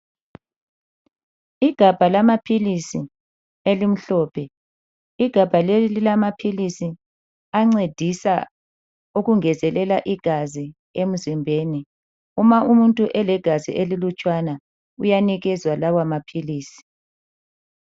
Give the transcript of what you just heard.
Igabha lamaphilisi elimhlophe, igabha leli lilamaphilisi ancedisa ukungezelela igazi emzimbeni uma umuntu elegazi elilutshwana uyanikezwa lawa maphilisi.